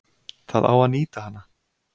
Það á að nýta hana.